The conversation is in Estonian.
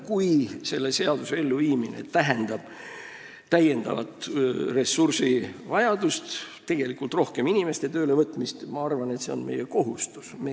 Kui selle seaduse elluviimine tähendab täiendavat ressursivajadust, rohkemate inimeste töölevõtmist, siis ma arvan, et meie kohustus on seda teha.